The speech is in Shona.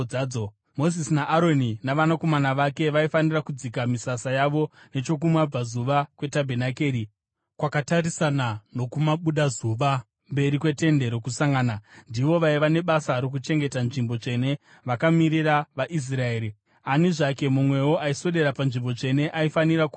Mozisi naAroni navanakomana vake vaifanira kudzika misasa yavo nechokumabvazuva kwetabhenakeri, kwakatarisana nokumabudazuva, mberi kweTende Rokusangana. Ndivo vaiva nebasa rokuchengeta nzvimbo tsvene vakamirira vaIsraeri. Ani zvake mumwewo aiswedera panzvimbo tsvene aifanira kuurayiwa.